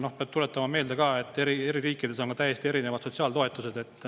Noh, peab ka meelde tuletama, et eri riikides on täiesti erinevad sotsiaaltoetused.